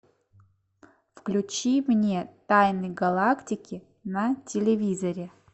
включи мне тайны галактики на телевизоре